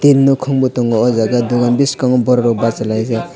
inn nokong bo tango o jaga dogan biskango borok rok basalaijak.